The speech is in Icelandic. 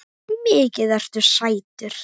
Mikið ertu sætur.